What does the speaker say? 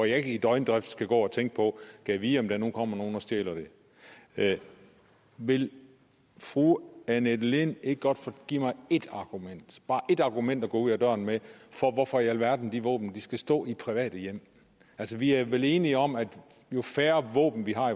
jeg ikke i døgndrift skal gå og tænke gad vide om der nu kommer nogen og stjæler det vil fru annette lind ikke godt give mig bare et argument at gå ud af døren med for hvorfor i alverden de våben skal stå i private hjem altså vi er vel enige om at jo færre våben vi har